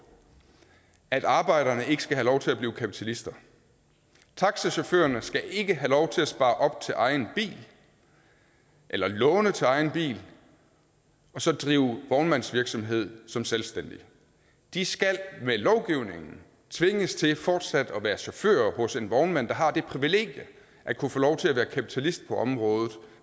at arbejderne ikke skal have lov til at blive kapitalister taxachaufførerne skal ikke have lov til at spare op til egen bil eller låne til egen bil og så drive vognmandsvirksomhed som selvstændige de skal med lovgivningen tvinges til fortsat at være chauffører hos en vognmand der har det privilegium at kunne få lov til at være kapitalist på området